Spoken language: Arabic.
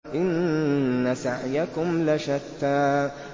إِنَّ سَعْيَكُمْ لَشَتَّىٰ